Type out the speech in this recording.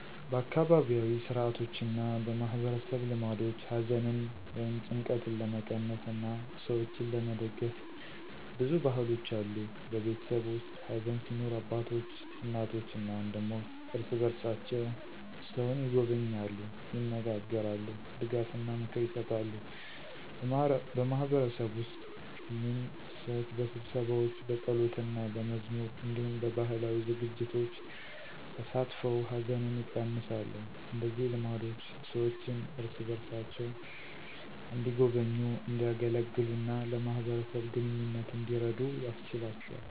በአካባቢያዊ ሥርዓቶችና በማህበረሰብ ልማዶች ሐዘንን ወይም ጭንቀትን ለመቀነስ እና ሰዎችን ለመደግፍ ብዙ ባህሎች አሉ። በቤተሰብ ውስጥ ሐዘን ሲኖር አባቶች፣ እናቶች እና ወንድሞች እርስ በርሳቸው ሰውን ይጎበኛሉ፣ ይነጋገራሉ፣ ድጋፍና ምክር ይሰጣሉ። በማህበረሰብ ውስጥ ግን ሰዎች በስብሰባዎች፣ በጸሎትና በመዝሙር እንዲሁም በባህላዊ ዝግጅቶች ተሳትፈው ሐዘንን ይቀነሳሉ። እንደዚህ ልማዶች ሰዎችን እርስ በርሳቸው እንዲጎበኙ፣ እንዲያገለግሉ እና ለማህበረሰብ ግንኙነት እንዲረዱ ያስችላቸዋል።